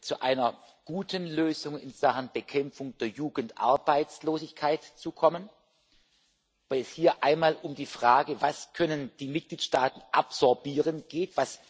zu einer guten Lösung in Sachen Bekämpfung der Jugendarbeitslosigkeit zu kommen, weil es hier einmal um die Frage geht, was die Mitgliedstaaten absorbieren können, was